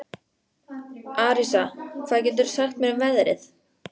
Arisa, hvað geturðu sagt mér um veðrið?